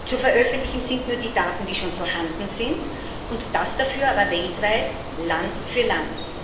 Zu veröffentlichen sind nur die Daten, die schon vorhanden sind, und das dafür aber weltweit, Land für Land.